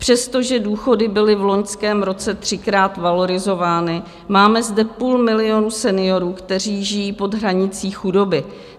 Přestože důchody byly v loňském roce třikrát valorizovány, máme zde půl milionu seniorů, kteří žijí pod hranicí chudoby.